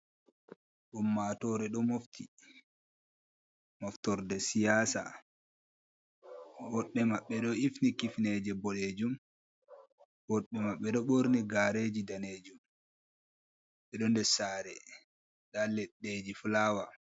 Ummatore ɗo mofti, moftorde siyasa, woɗɓe maɓɓe ɗo hifni kifneje boɗejum, woɗɓe maɓɓe ɗo ɓorni gareji danejum, ɓeɗo ndessare nda leɗɗeji fulawa.